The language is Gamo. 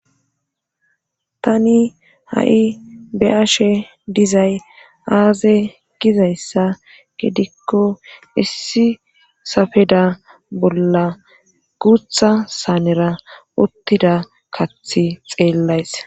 tani ha7i be7ashe dizay aaze gizayssa gedikko issi safeda bolla guutha saanera uttida kathi xeellays